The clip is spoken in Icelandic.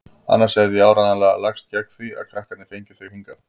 Annars hefði ég áreiðanlega lagst gegn því að krakkarnir fengju þig hingað.